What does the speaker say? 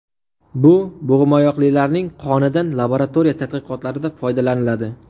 Bu bo‘g‘imoyoqlilarning qonidan laboratoriya tadqiqotlarida foydalaniladi.